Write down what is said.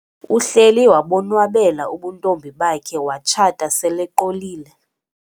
Uhleli wabonwabela ubuntombi bakhe watshata seleqolile.